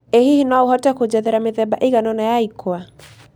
ĩ hihi no ũhote kũnjerethera mĩthemba ĩiganona ya ĩkũa